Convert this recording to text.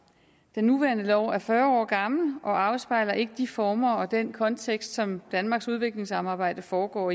den nuværende lov er fyrre år gammel og afspejler ikke de former og den kontekst som danmarks udviklingssamarbejde foregår